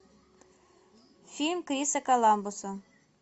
фильм криса коламбуса